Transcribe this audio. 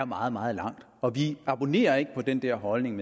meget meget langt og vi abonnerer ikke på den der holdning